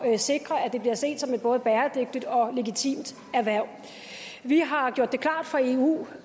sikre at det bliver set som et både bæredygtigt og legitimt erhverv vi har gjort det klart for eu